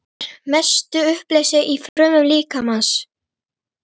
Það er að mestu uppleyst í frumum líkamans.